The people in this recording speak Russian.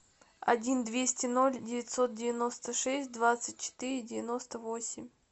один двести ноль девятьсот девяносто шесть двадцать четыре девяносто восемь